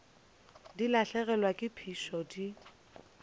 di lahlegelwa ke phišo di